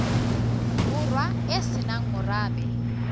borwa e se nang morabe